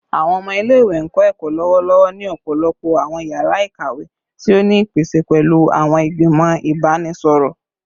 Awọn ọmọ ile-iwe n kọ ẹkọ lọwọlọwọ ni ọpọlọpọ awọn yara ikawe ti o ni ipese pẹlu awọn igbimọ ibanisọrọ